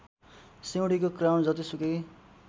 सिउँडीको crown जतिसुकै